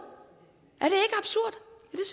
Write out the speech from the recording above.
er